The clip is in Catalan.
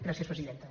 gràcies presidenta